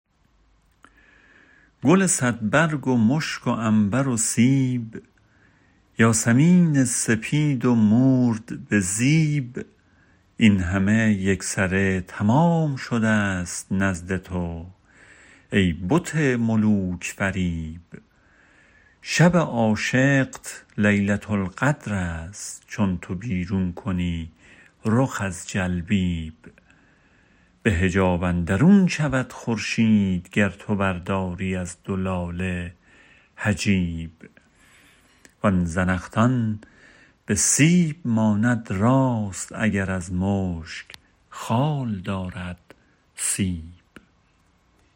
گل صدبرگ و مشک و عنبر و سیب یاسمین سپید و مورد بزیب این همه یکسره تمام شده ست نزد تو ای بت ملوک فریب شب عاشقت لیلةالقدرست چون تو بیرون کنی رخ از جلبیب به حجاب اندرون شود خورشید گر تو برداری از دو لاله حجیب وآن زنخدان به سیب ماند راست اگر از مشک خال دارد سیب